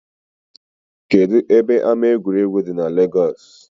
Kedụ ebe ama egwuregwu dị n Legọs?